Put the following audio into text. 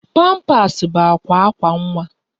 Pampas bụ akwa akwa nwa